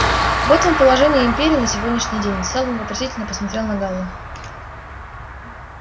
вот вам положение империи на сегодняшний день сэлдон вопросительно посмотрел на гаала